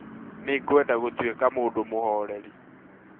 Nĩngwenda gũtuĩka mũndũ mũhorerĩ